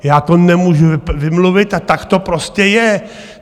Já to nemůžu vymluvit a tak to prostě je.